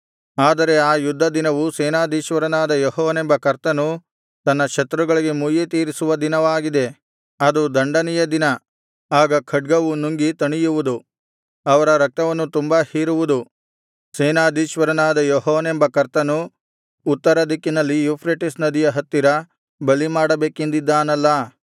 ಆದರೆ ಆ ಯುದ್ಧ ದಿನವು ಸೇನಾಧೀಶ್ವರನಾದ ಯೆಹೋವನೆಂಬ ಕರ್ತನು ತನ್ನ ಶತ್ರುಗಳಿಗೆ ಮುಯ್ಯಿತೀರಿಸುವ ದಿನವಾಗಿದೆ ಅದು ದಂಡನೆಯ ದಿನ ಆಗ ಖಡ್ಗವು ನುಂಗಿ ತಣಿಯುವುದು ಅವರ ರಕ್ತವನ್ನು ತುಂಬಾ ಹೀರುವುದು ಸೇನಾಧೀಶ್ವರನಾದ ಯೆಹೋವನೆಂಬ ಕರ್ತನು ಉತ್ತರ ದಿಕ್ಕಿನಲ್ಲಿ ಯೂಫ್ರೆಟಿಸ್ ನದಿಯ ಹತ್ತಿರ ಬಲಿಮಾಡಬೇಕೆಂದಿದ್ದಾನಲ್ಲಾ